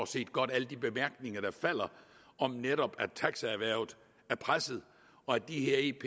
set godt alle de bemærkninger der falder om at netop taxierhvervet er presset og at de her ep